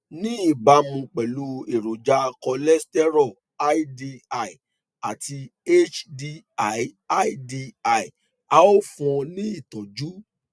ní ìbámu pẹlú èròjà kòlẹsítérò ldl àti hdlldl a ó fún un ní ìtọjú